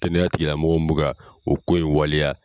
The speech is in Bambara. Kɛnɛya tigi la mɔgɔ mun bɛ ka o ko in waleya.